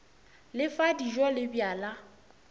le fa dijo le bjala